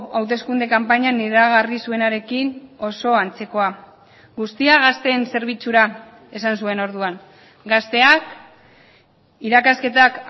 hauteskunde kanpainan iragarri zuenarekin oso antzekoa guztia gazteen zerbitzura esan zuen orduan gazteak irakasketak